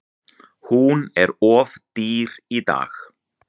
Hún er of dýr í dag.